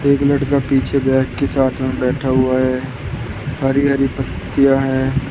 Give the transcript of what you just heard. एक लड़का पीछे बैग के साथ में बैठा हुआ है हरी हरी पत्तियां हैं।